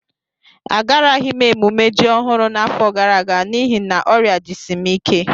Agaraghị m emume ji ọhụrụ n'afọ gara aga n'ihi na ọrịa jisi m ike